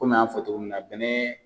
Kɔmi an y'an fɔ togo min na bɛnɛ